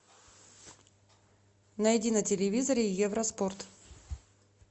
найди на телевизоре евроспорт